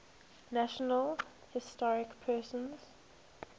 national historic persons